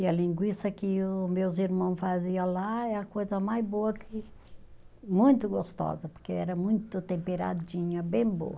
E a linguiça que o meus irmão fazia lá é a coisa mais boa que, muito gostosa, porque era muito temperadinha, bem boa.